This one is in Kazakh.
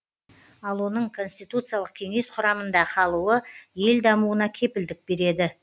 ал оның конституциялық кеңес құрамында қалуы ел дамуына кепілдік береді